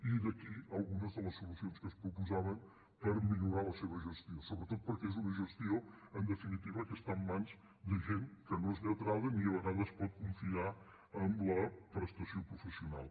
i d’aquí algunes de les solucions que es proposaven per millorar la seva gestió sobretot perquè és una gestió en definitiva que està en mans de gent que no és lletrada ni a vegades pot confiar en la prestació professional